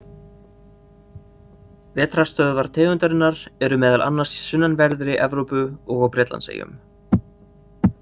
Vetrarstöðvar tegundarinnar eru meðal annars í sunnanverðri Evrópu og á Bretlandseyjum.